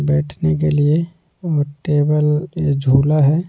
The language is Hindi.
बैठने के लिए और टेबल ये झूला है।